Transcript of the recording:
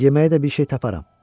Yeməyi də bir şey taparam.